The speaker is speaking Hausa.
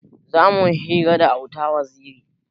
Zamuyi hira da auta waziri